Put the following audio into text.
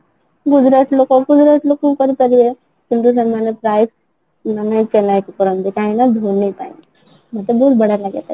Gujarat ଲୋକ Gujarat ଲୋକ କୁ କରିପାରିବେ କିନ୍ତୁ ସେମାନେ ପ୍ରାୟ ସେମାନେ chennai super king କୁ ଚାହାନ୍ତି କାହିଁକିନା ଧୋନି ପାଇଁ ମତେ ବହୁତ ବଢିଆ ଲାଗେ ତାକୁ